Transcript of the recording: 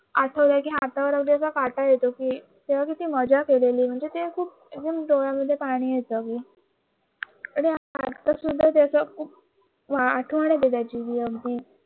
आठवल कि हातावर असा काटा येतो की तेव्हा किती मजा केली होती खूप म्हणजे डोळ्यांमध्ये पाणी येत